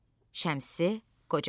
Şəmsi Qoca.